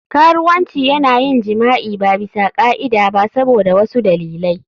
Karuwanci yana yin jima'i ba bisa ka'ida ba saboda wasu dalilai.